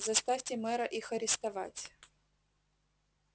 заставьте мэра их арестовать